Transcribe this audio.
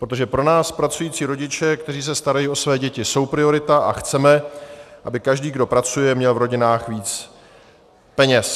Protože pro nás, pracující rodiče, kteří se starají o své děti, jsou priorita a chceme, aby každý, kdo pracuje, měl v rodinách víc peněz.